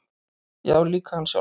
Já, líka hann sjálfan.